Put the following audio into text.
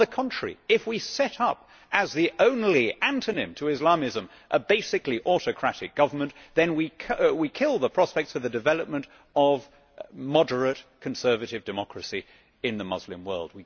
On the contrary, if we set up as the only antonym to Islamism a basically autocratic government then we kill the prospects for the development of moderate conservative democracy in the Muslim world.